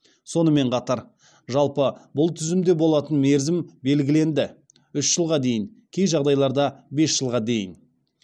сонымен қатар жалпы бұл тізімде болатын мерзім белгіленді